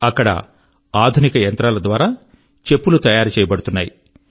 అక్కడ ఆధునిక యంత్రాల ద్వారా చెప్పులు తయారు చేయబడుతున్నాయి